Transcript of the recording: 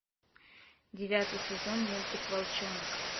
девятый сезон мультик волчонок